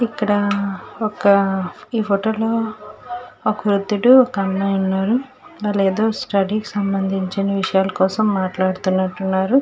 ఇక్కడ ఒక ఈ ఫోటో లో ఒక వుద్ధుడు ఒక అమ్మాయ్ ఉన్నారు. వాళ్ళు ఏదో స్టడీ కి సంభందించిన విషయాలు కోసం మాట్లాడుతున్నట్టు ఉన్నారు.